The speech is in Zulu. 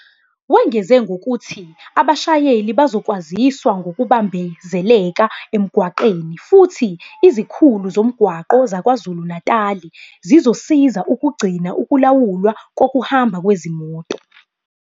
Wengeze ngokuthi abashayeli bazokwaziswa ngokubambezeleka emgwaqeni futhi izikhulu zomgwaqo zaKwaZulu-Natali zizosiza ukugcina ukulawulwa kokuhamba kwezimoto.